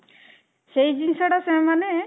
ସେଇ ଜିନିଷ ଟା ସେମାନେ